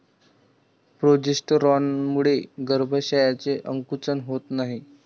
प्रोजेस्टेरॉनमुळे गर्भाशयाचे आकुंचन होत नाही.